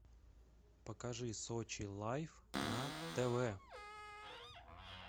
покажи сочи лайф на тв